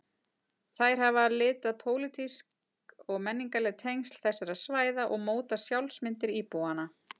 Þær hafa litað pólitísk og menningarleg tengsl þessara svæða og mótað sjálfsmyndir íbúanna.